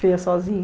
Você ia sozinho?